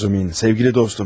Razumin, sevgili dostum.